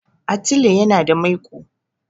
Atile yana da maiƙo.